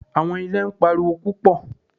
Àwọn irè ń pariwo púpọ̀.